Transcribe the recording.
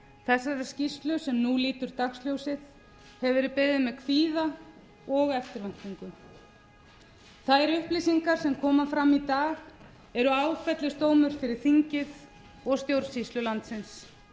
þessari skýrslu sem nú lítur dagsljósið hefur verið beðið með kvíða og eftirvæntingu þær upplýsingar sem koma fram í dag eru áfellisdómur fyrir þingið og stjórnsýslu landsins